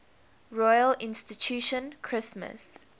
royal institution christmas